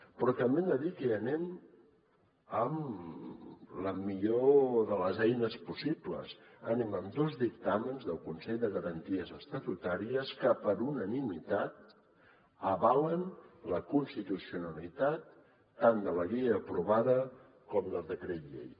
però també hem de dir que hi anem amb la millor de les eines possibles anem amb dos dictàmens del consell de garanties estatutàries que per unanimitat avalen la constitucionalitat tant de la llei aprovada com del decret llei